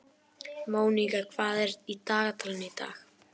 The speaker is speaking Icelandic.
Mónika, hvað er í dagatalinu í dag?